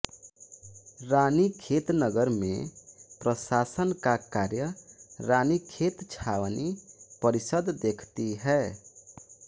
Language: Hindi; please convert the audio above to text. रानीखेत नगर में प्रशासन का कार्य रानीखेत छावनी परिषद देखती है